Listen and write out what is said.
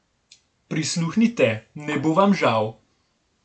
Prisluhnite, ne bo vam žal!